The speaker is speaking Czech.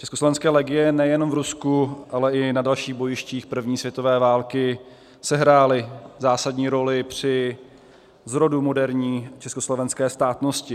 Československé legie nejenom v Rusku, ale i na dalších bojištích první světové války sehrály zásadní roli při zrodu moderní československé státnosti.